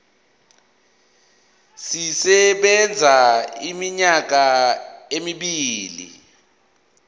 sisebenza iminyaka emibili